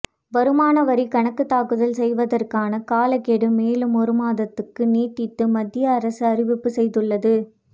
வருமான வரிக் கணக்குத் தாக்கல் செய்வதற்கான காலக்கெடு மேலும் ஒரு மாதத்துக்கு நீட்டித்து மத்திய அரசு அறிவிப்பு செய்துள்ளது